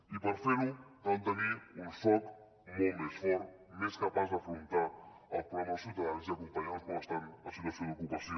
i per fer ho cal tenir un soc molt més fort més capaç d’afrontar els problemes dels ciutadans i acompanyar los com estan en la situació d’ocupació